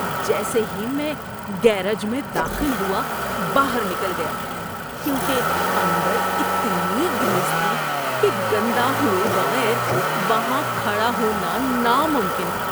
جیسے ہی میں گیراج میں داخل ہوا، باہر نکل گیا کیونکہ اندر اتنی گریس تھی کہ گندا ہوئے بغیر وہاں کھڑا ہونا ناممکن تھا۔